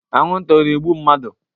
Anwụ nta ọ na-egbu mmadụ?